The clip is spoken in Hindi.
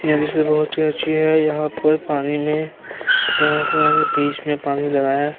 बहोत ही अच्छी है। यहाँ पर पानी में यहाँ पर बीच में पानी लगाया गया --